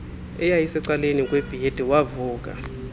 eyayisecaleni kwebhedi wavuka